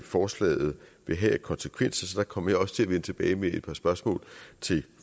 forslaget vil have af konsekvenser så der kommer jeg også til at vende tilbage med et par spørgsmål til